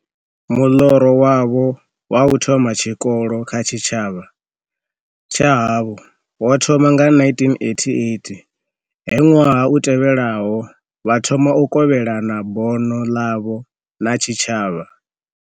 Muḽoro wavho wa u thoma tshikolo kha tshitshavha tsha havho wo thoma nga 1988, he ṅwaha u tevhelaho vha thoma u kovhelana bono ḽavho na tshitshavha.